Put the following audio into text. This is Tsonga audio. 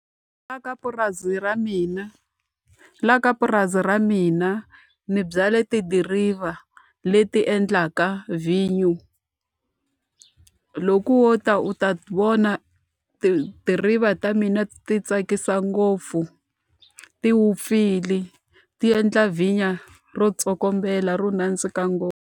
Laha ka purasi ra mina laha ka purasi ra mina ni byale tidiriva leti endlaka vhinyo. Loko wo ta u ta vona tidiriva ta mina ti tsakisa ngopfu, ti wupfile, ti endla vhinyo ro tsokombela, ro nandzika ngopfu.